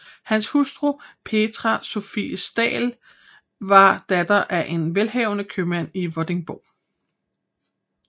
Hans hustru Petrea Sophie Staal var datter af en velhavende købmand i Vordingborg